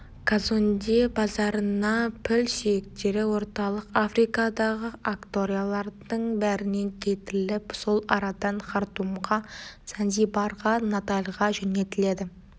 казонде базарына піл сүйектері орталық африкадағы акториялардың бәрінен келтіріліп сол арадан хартумға занзибарға натальға жөнелтіледі